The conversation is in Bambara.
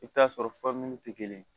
I bɛ t'a sɔrɔ tɛ kelen ye